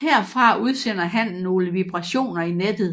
Herfra udsender hannen nogle vibrationer i nettet